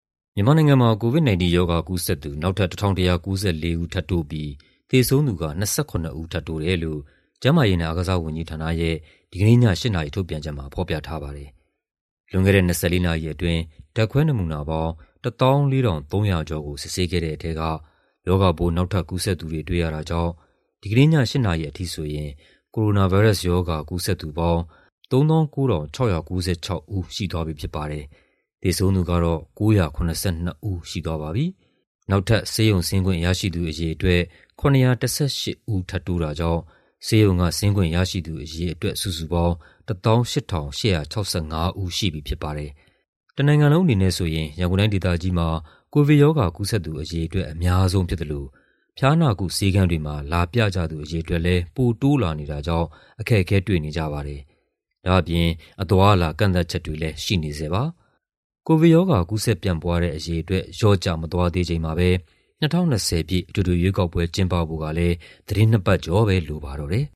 မြန်မာနိုင်ငံမှာ COVID-19 ရောဂါကူးစက်သူ နောက်ထပ် ၁,၁၉၄ ဦးထပ်တိုးပြီး သေဆုံးသူက ၂၇ ဦး ထပ်တိုးတယ်လို့ ကျန်းမာရေးနဲ့ အားကစားဝန်ကြီးဌာနရဲ့ ဒီကနေ့ည ၈ နာရီ ထုတ်ပြန်ချက်မှာ ဖော်ပြထားပါတယ်။ လွန်ခဲ့တဲ့ ၂၄ နာရီအတွင်း ဓာတ်ခွဲနမူနာပေါင်း ၁၄,၃၆၂ ခုကို စစ်ဆေးခဲ့တဲ့ထဲက ရောဂါပိုး နောက်ထပ် ကူးစက်သူတွေ တွေ့ရတာကြောင့် ဒီကနေ့ည ၈ နာရီအထိဆိုရင် ကိုရိုနာဗိုင်းရပ်စ်ရောဂါ ကူးစက်သူပေါင်း ၃၉,၆၉၆ ဦး ရှိသွားပြီဖြစ်ပါတယ်။ သေဆုံးသူကတော့ ၉၇၂ ဦးရှိသွားပါပြီ။ နောက်ထပ် ဆေးရုံဆင်းခွင့်ရရှိသူအရေအတွက် ၇၁၈ ဦး ထပ်တိုးတာကြောင့် ဆေးရုံက ဆင်းခွင့်ရရှိသူအရေအတွက် စုစုပေါင်း ၁၈,၈၆၅ ဦး ရှိပြီဖြစ်ပါတယ်။ တနိုင်ငံလုံးအနေနဲ့ဆိုရင် ရန်ကုန်တိုင်းဒေသကြီးမှာ ကိုဗစ်ရောဂါ ကူးစက်သူအရေအတွက် အများဆုံးဖြစ်သလို ဖျားနာကုဆေးခန်းတွေမှာ လာပြကြသူအရေအတွက်လည်း ပိုတိုးလာနေတာကြောင့် အခက်အခဲတွေ့နေကြပါတယ်။ ဒါ့အပြင် အသွားအလာ ကန့်သတ်ချက်တွေလည်း ရှိနေဆဲပါ။ ကိုဗစ်ရောဂါ ကူးစက်ပျံ့ပွားတဲ့အရေအတွက် လျော့ကျမသွားသေးချိန်မှာဘဲ ၂၀၂၀ ပြည့် အထွေထွေရွေးကောက်ပွဲ ကျင်းပဖို့ကလည်း သီတင်းနှစ်ပတ်ကျော်ပဲ လိုပါတော့တယ်